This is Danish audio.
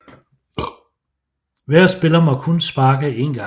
Hver spiller må kun sparke én gang